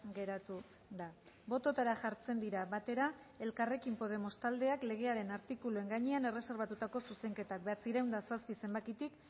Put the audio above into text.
geratu da bototara jartzen dira batera elkarrekin podemos taldeak legearen artikuluen gainean erreserbatutako zuzenketak bederatziehun eta zazpi zenbakitik